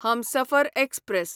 Humsafar express